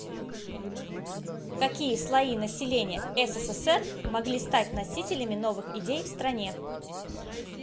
какие слои населения ссср могли стать носителями новых идей в стране